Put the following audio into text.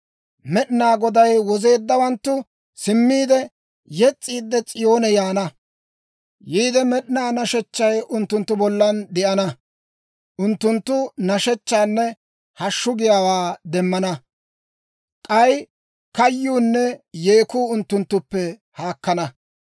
Med'inaa Goday wozeeddawanttu simmiide, yes's'iid S'iyoone yaana; yiide med'inaa nashechchay unttunttu bollan de'ana; unttunttu nashshechchaanne hashshu giyaawaa demmana. K'ay kayyuunne yeekku unttunttuppe haakkana.